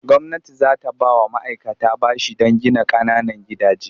Gwamnati za ta ba wa ma'aikata bashi don gina ƙananan gidaje.